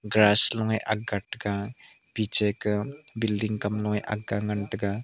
grass low aaga taiga piche kah building kamnu a aaga ngan tega.